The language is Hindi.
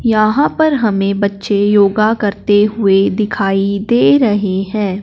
यहां पर हमें बच्चे योगा करते हुए दिखाई दे रहे हैं।